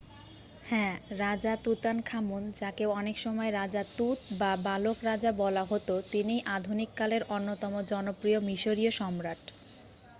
হ্যাঁ রাজা তুতানখামুন যাঁকে অনেকসময় রাজা তুত বা বালক রাজা বলা হত তিনিই আধুনিককালের অন্যতম জনপ্রিয় মিশরিয় সম্রাট